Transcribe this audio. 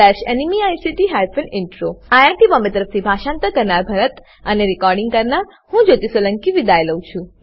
httpspoken tutorialorgNMEICT Intro IIT Bombay તરફથી હું ભરતભાઈ સોલંકી વિદાય લઉં છું